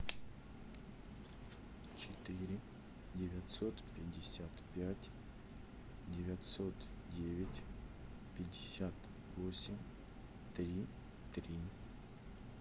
четыре девятьсот пятьдесят пять девятьсот девять пятьдесят восемь три три